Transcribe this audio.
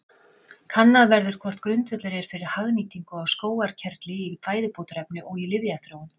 Kannað verður hvort grundvöllur er fyrir hagnýtingu á skógarkerfli í fæðubótarefni og í lyfjaþróun.